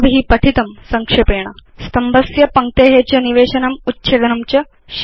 अस्माभि पठितं संक्षेपेण स्तम्भस्य पङ्क्ते च निवेशनम् उच्छेदनं च